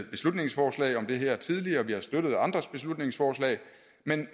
beslutningsforslag om det her tidligere og vi har støttet andres beslutningsforslag men